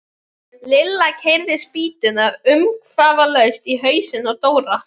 Lilla keyrði spýtuna umsvifalaust í hausinn á Dóra.